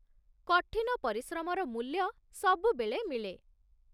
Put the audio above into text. କଠିନ ପରିଶ୍ରମର ମୂଲ୍ୟ ସବୁବେଳେ ମିଳେ